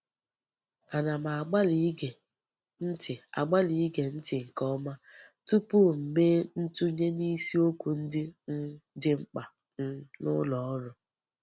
Ana m agbali ige nti agbali ige nti nke oma tupu m mee ntunye nisi okwu ndi um di mkpa um n'uloru.